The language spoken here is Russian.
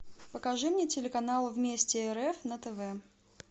покажи мне телеканал вместе рф на тв